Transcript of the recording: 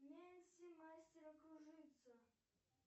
нэнси мастера кружится